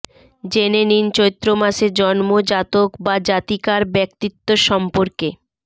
জেনে নিন চৈত্র মাসে জন্ম জাতক বা জাতিকার ব্যক্তিত্ব সম্পর্কে